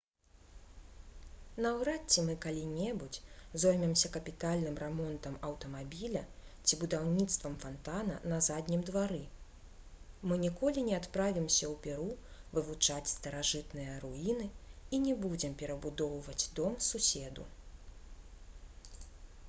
наўрад ці мы калі-небудзь зоймемся капітальным рамонтам аўтамабіля ці будаўніцтвам фантана на заднім двары мы ніколі не адправімся ў перу вывучаць старажытныя руіны і не будзем перабудоўваць дом суседу